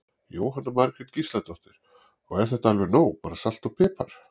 Jóhanna Margrét Gísladóttir: Og er þetta alveg nóg bara salt og pipar?